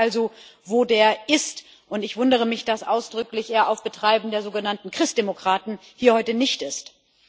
Ich frage mich also, wo der ist, und ich wundere mich, dass er ausdrücklich auf Betreiben der sogenannten Christdemokraten heute nicht hier ist.